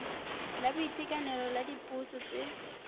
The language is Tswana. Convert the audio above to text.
la boitekanelo la dipotso tse